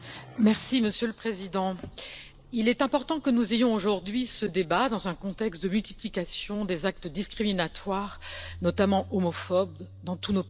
Monsieur le Président, il est important que nous ayons aujourd'hui ce débat, dans un contexte de multiplication des actes discriminatoires, notamment homophobes, dans tous nos pays.